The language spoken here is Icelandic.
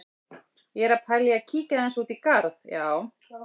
Ég er að pæla í að kíkja aðeins út í garð, já.